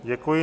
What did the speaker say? Děkuji.